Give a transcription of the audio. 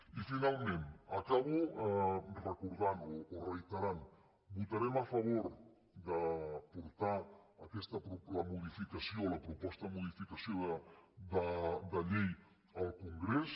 i finalment acabo recordant o reiterant votarem a favor de portar la modificació la proposta de modificació de llei al congrés